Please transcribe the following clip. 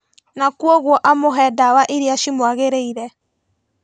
Na koguo amũhe ndawa iria cimwagĩrĩire